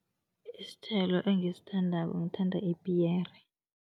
Isithelo engisithandako, ngithanda ipiyere.